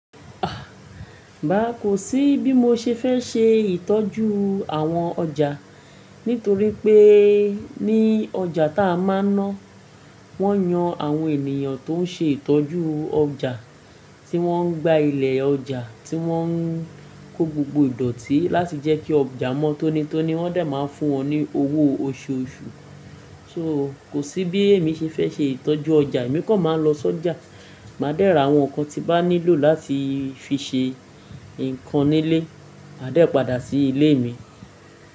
À, bàá kò sí bí mo ṣe fẹ́ ṣe ìtọ́jú àwọn ọjà, nítorí pé ní ọjà tá a máa ń ná, wọ́n yan àwọn ènìyàn tó ń ṣe ìtọ́jú ọjà tí wọ́n ń gba ilẹ̀ ọjà tí wọ́n ń kó gbogbo ìdọ̀tí láti jẹ́ kí ọjà mọ́ tónítóní, wọ́n dà máa ń fún wọn ní owó oṣooṣù. So kò sí bí èmi ṣe fẹ́ ṣe ìtọ́jú ọjà, èmi kọ̀ máa ń lọ sọ́jà. Màá dẹ́ra àwọn nǹkan tí bá nílò láti fi ṣe nǹkan nílé, màá dẹ́ padà sí ilé mi.